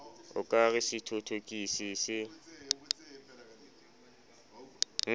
o ka re sethothokisi se